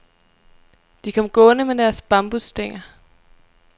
De kom gående med deres bambusstænger.